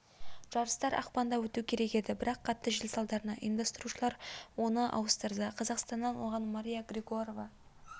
жарыстар ақпанда өту керек еді бірақ қатты жел салдарынан ұйымдастырушылар оны ауыстырды қазақстаннан оған мария григорова